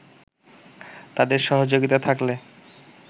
তাদের সহযোগিতা থাকলে